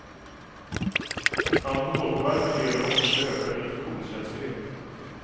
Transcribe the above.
Alkoholpåverkan leder också till ökad infektionskänslighet.